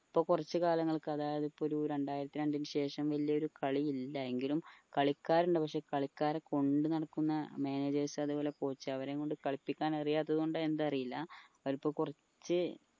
ഇപ്പൊ കുറച്ച് കാലങ്ങൾക്ക് അതായതു ഇപ്പൊ ഒരു രണ്ടായിരത്തി രണ്ടിന് ശേഷം വലിയൊരു കളി ഇല്ല എങ്കിലു കളിക്കാരുണ്ട് പക്ഷെ കളിക്കാരെ കൊണ്ടു നടക്കുന്ന managers അത്പോലെ coach അവരെയും കൊണ്ട് കളിപ്പിക്കാൻ അറിയാത്തത് കൊണ്ട് എന്താ അറീല അവരിപ്പോ കുറച്ച്